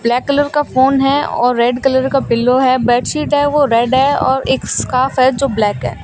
Black colour का phone है और रेड कलर का पिलो है बेड शीट है वो रेड है और एक स्कॉफ है जो ब्लैक है।